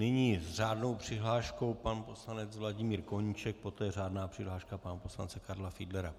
Nyní s řádnou přihláškou pan poslanec Vladimír Koníček, poté řádná přihláška pana poslance Karla Fiedlera.